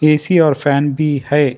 AC और fan भी है।